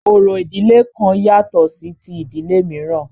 Orò ìdílé kan yàtọ̀ sí ti ìdílé mìíràn.